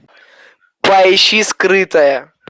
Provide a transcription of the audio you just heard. поищи скрытая